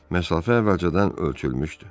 Məsafə əvvəlcədən ölçülmüşdü.